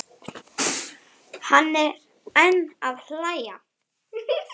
Hann er enn að hlæja.